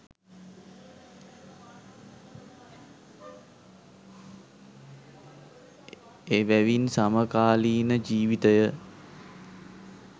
එවැවින් සමකාලීන ජීවිතය